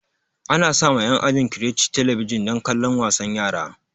Ana sa ma en ajin crèche talabijan dan kallon wasan yara